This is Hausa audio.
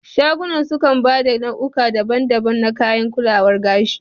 Shagunan sukan ba da nau'uka daban daban na kayan kulawar gashi